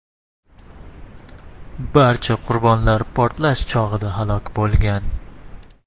Barcha qurbonlar portlash chog‘ida halok bo‘lgan.